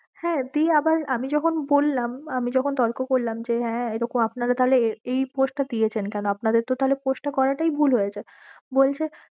হ্যাঁ, দিয়ে আমি আবার আমি যখন বললাম আমি যখন তর্ক করলাম যে হ্যাঁ এইরকম আপনাদের তাহলে এই post টা দিয়েছেন কেন? আপনাদের করাটাই ভুল হয়েছে